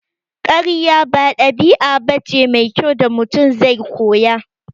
Karya ba ɗabi'a bace mai kyau da Mutum zai koya